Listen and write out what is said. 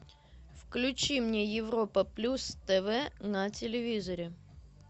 включи мне европа плюс тв на телевизоре